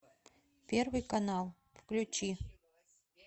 первый канал включи